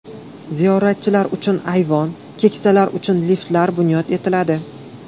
Ziyoratchilar uchun ayvon, keksalar uchun liftlar bunyod etiladi.